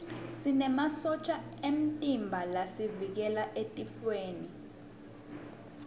sinemasotja emtimba lasivikela etifweni